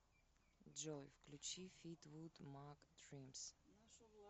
джой включи флитвуд мак дримс